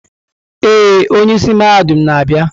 Ee, onye isi mahadum na-abịa.